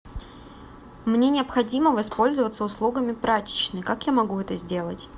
мне необходимо воспользоваться услугами прачечной как я могу это сделать